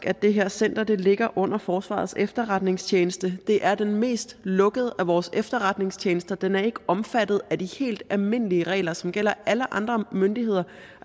at det her center ligger under forsvarets efterretningstjeneste det er den mest lukkede af vores efterretningstjenester og den er ikke omfattet af de helt almindelige regler som gælder alle andre myndigheder